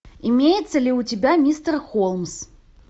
имеется ли у тебя мистер холмс